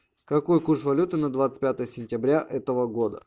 какой курс валюты на двадцать пятое сентября этого года